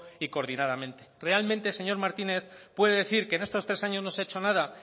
y coordinadamente realmente señor martínez puede decir que en estos tres años no se ha hecho nada